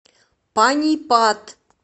панипат